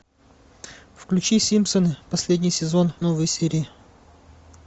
включи симпсоны последний сезон новые серии